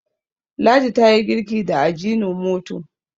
ladi ta yi girki da ajinomoto